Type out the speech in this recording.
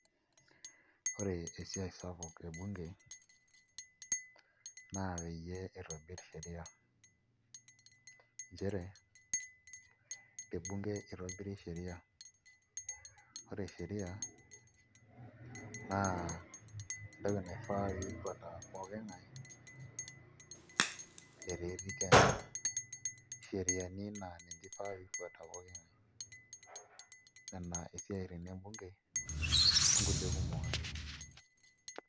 Ore esiai sapuk ebunge naa peyie itobirr sheria nchere tebunge itobiri sheria ore sheria entoki naifaa pee ifuata pooki ng'ae etaa etii Kenya, sheriani naa ninche ifaa pee ifuata pooki ng'ae ina nena isiaitin ebunge onkulie kumok ake.